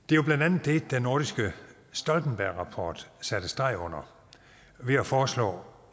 det er nordiske stoltenbergrapport satte streg under ved at foreslå